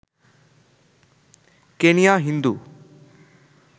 Kenya Hindu